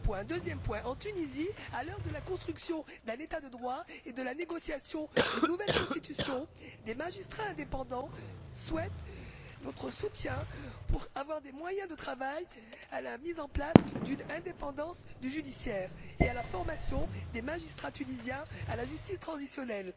Deuxième point en Tunisie, à l'heure de la construction d'un État de droit et de la négociation d'une nouvelle constitution, des magistrats indépendants souhaitent notre soutien pour avoir les moyens de travailler à la mise en place de l'indépendance du pouvoir judiciaire et à la formation des magistrats tunisiens à la justice transitionnelle.